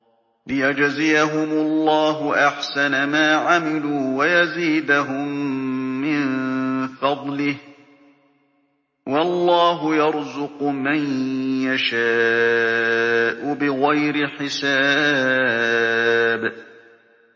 لِيَجْزِيَهُمُ اللَّهُ أَحْسَنَ مَا عَمِلُوا وَيَزِيدَهُم مِّن فَضْلِهِ ۗ وَاللَّهُ يَرْزُقُ مَن يَشَاءُ بِغَيْرِ حِسَابٍ